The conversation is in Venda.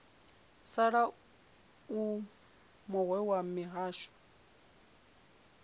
sala u muwe wa mihasho